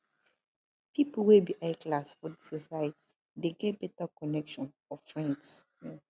pipo wey be high class for di society de get better connection of friends